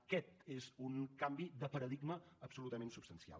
aquest és un canvi de paradigma absolutament substancial